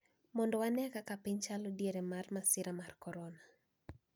Mondo wanee kaka piny chalo diere mar masira mar korona